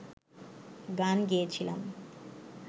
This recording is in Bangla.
গান গেয়েছিলাম